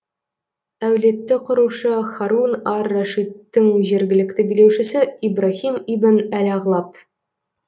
әулетті құрушы һарун ар рашидтің жергілікті билеушісі ибраһим ибн әл ағлаб